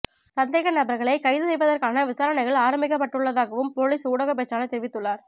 சந்தேகநபர்களை கைது செய்வதற்கான விசாரணைகள் ஆரம்பிக்கப்பட்டுள்ளதாகவும் பொலிஸ் ஊடகப் பேச்சாளர் தெரிவித்துள்ளார்